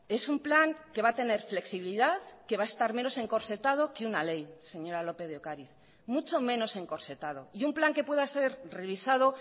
es un plan que va a tener flexibilidad que va a estar menos encorsetado que una ley señora lópez de ocariz mucho menos encorsetado y un plan que pueda ser revisado